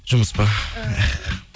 жұмыс па